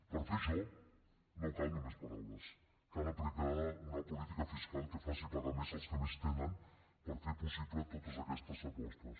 per fer això no calen només paraules cal aplicar una política fiscal que faci pagar més els que més tenen per fer possible totes aquestes apostes